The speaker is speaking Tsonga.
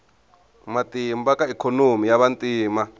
matimba ka ikhonomi ya vantima